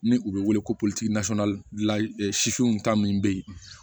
Ni u bɛ wele ko ta min bɛ yen